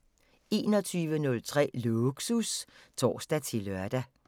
21:03: Lågsus (tor-lør)